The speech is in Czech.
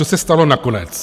Co se stalo nakonec?